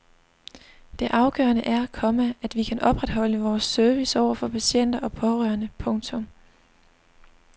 Det afgørende er, komma at vi kan opretholde vores service over for patienter og pårørende. punktum